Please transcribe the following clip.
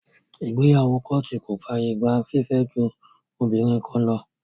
Ìgbéyàwó kóòtù kò fàyè gba fífẹ́ ju obìnrin kan lọ.